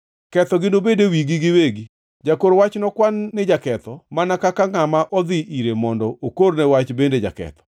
Kethogi nobed e wigi giwegi, jakor wach nokwan ni jaketho mana kaka ngʼama odhi ire mondo okorne wach bende jaketho.